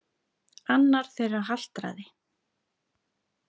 Annar þeirra haltraði.